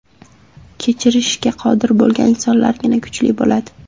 Kechirishga qodir bo‘lgan insonlargina kuchli bo‘ladi.